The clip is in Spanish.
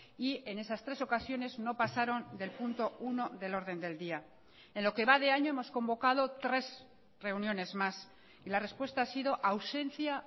y en esas tres ocasiones no pasaron del punto uno del orden del día en lo que va de año hemos convocado tres reuniones más y la respuesta ha sido ausencia